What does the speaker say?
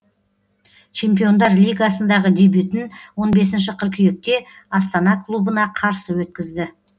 чемпиондар лигасындағы дебютін он бесінші қыркүйекте астана клубына қарсы өткізді